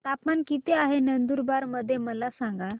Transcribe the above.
तापमान किता आहे नंदुरबार मध्ये मला सांगा